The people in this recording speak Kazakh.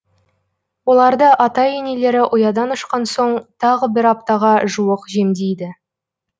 оларды ата енелері ұядан ұшқан соң тағы бір аптаға жуық жемдейді